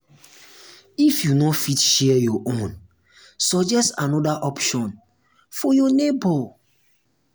if you no fit share your own suggest another option for your neighbor